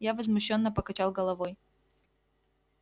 я возмущённо покачал головой